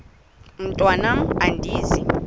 mntwan am andizi